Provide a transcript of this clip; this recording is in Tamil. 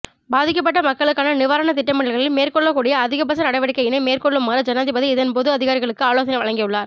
பாதிக்கப்பட்ட மக்களுக்கான நிவாரண திட்டமிடல்களில் மேற்கொள்ளக்கூடிய அதிகபட்ச நடவடிக்கையினை மேற்கொள்ளுமாறு ஜனாதிபதி இதன் போது அதிகாரிகளுக்கு ஆலோசனை வழங்கியுள்ளார்